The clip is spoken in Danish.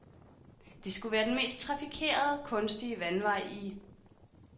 Det skulle være den mest trafikerede, kunstige vandvej i